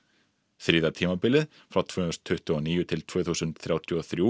þriðja tímabilið frá tvö þúsund tuttugu og níu til tvö þúsund þrjátíu og þrjú